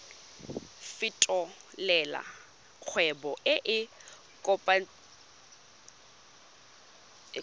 fetolela kgwebo e e kopetswengcc